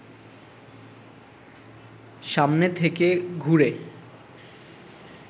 সামনে থেকে ঘুরে